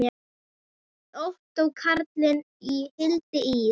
Ottó Karli og Hildi Ýr.